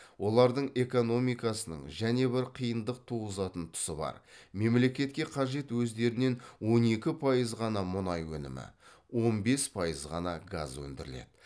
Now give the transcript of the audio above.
олардың экономикасының және бір қиындық туғызатын тұсы бар мемлекетке қажет өздерінен он екі пайыз ғана мұнай өнімі он бес пайыз ғана газ өндіріледі